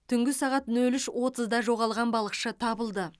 түнгі сағат нөл үш отызда жоғалған балықшы табылды